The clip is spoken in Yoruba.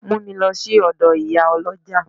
Mu mi lo si odo Iyaoloja!